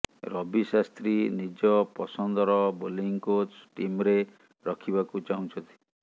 ରବି ଶାସ୍ତ୍ରୀ ନିଜ ପସନ୍ଦର bowling coach ଟିମ୍ରେ ରଖିବାକୁ ଚାହୁଁଛନ୍ତି